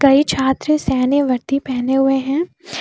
कई छात्र सैनिक वर्दी पहने हुए हैं।